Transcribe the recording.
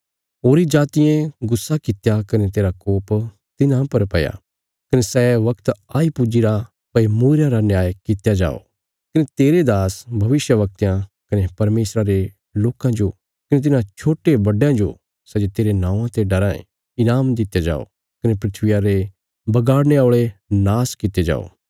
होरीं जातियें गुस्सा कित्या कने तेरा कोप तिन्हां पर पैया कने सै बगत आई पुज्जीरा भई मूईरयां रा न्याय कित्या जाओ कने तेरे दास भविष्यवक्तयां कने परमेशरा रे लोकां जो कने तिन्हां छोट्टेबड्डयां जो सै जे तेरे नौआं ते डराँ ये ईनाम दित्या जाओ कने धरतिया रे बगाड़ने औल़े नाश कित्ते जाओ